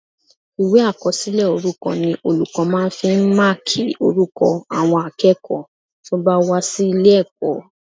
Ìwé àkọsílẹ̀ orúkọ ni olùkọ́ máa fi ń máàkì orúkọ àwọn akẹ́kọ̀ọ́ tó bá wá sí ilé-ẹ̀kọ́